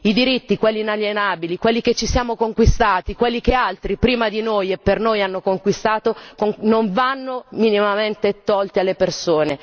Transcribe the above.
I diritti, quelli inalienabili, quelli che ci siamo conquistati, quelli che altri prima di noi e per noi hanno conquistato, non vanno minimamente tolti alle persone.